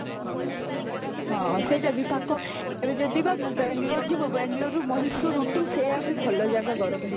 ହଁ, ସେଇଟା ବି ପାଖ ଏବେ ଯଦି ବା ବାଙ୍ଗାଲୁରୁ ଯିବ ବାଙ୍ଗାଲୁରୁ ରୁ Mysore scooty ସେଇଆ ବି ଭଲ ଜାଗା ଗରମ ଦିନ